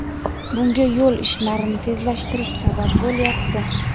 Bunga yo‘l ishlarini tezlashtirish sabab bo‘lyapti.